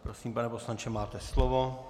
Prosím, pane poslanče, máte slovo.